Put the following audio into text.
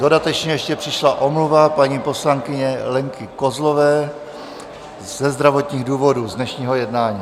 Dodatečně ještě přišla omluva paní poslankyně Lenky Kozlové ze zdravotních důvodů z dnešního jednání.